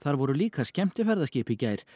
voru líka skemmtiferðaskip í gær